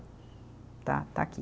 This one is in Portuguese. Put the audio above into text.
Estar, estar aqui.